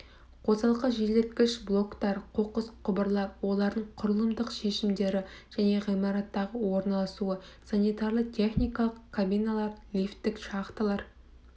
қосалқы желдеткіштік блоктар қоқыс құбырлар олардың құрылымдық шешімдері және ғимараттағы орналасуы санитарлы техникалық кабиналар лифттік шахталар